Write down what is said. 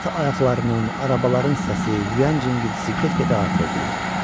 At ayaqlarının, arabaların səsi, yüyən cingiltisi get-gedə artırdı.